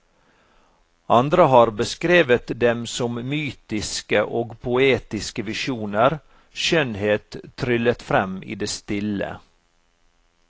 Andre har beskrevet dem som mytiske og poetiske visjoner, skjønnhet tryllet frem i det stille.